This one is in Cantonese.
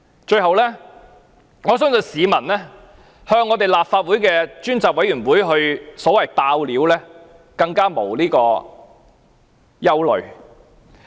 最後，我相信市民向立法會專責委員會"爆料"不會有所憂慮。